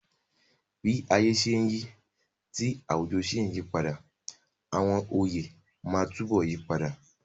Bí ayé ṣe ń yí, tí àwùjọ sì ń yípo, àwọn oyè máa túbọ̀ yí padà.